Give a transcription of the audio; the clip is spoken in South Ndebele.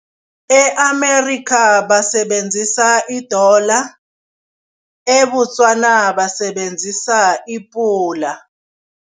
E-Amerikha basebenzisa idola, eBotswana basebenzisa ipula.